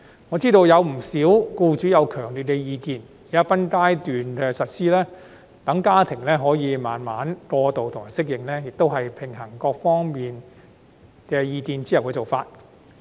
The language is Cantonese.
我知悉不少僱主有強烈意見，現在分階段實施，讓家庭可以慢慢過渡和適應，也是平衡各方意見後提出的方案。